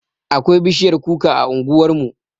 Akwai bishiyar kuka a unguwarmu